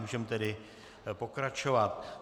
Můžeme tedy pokračovat.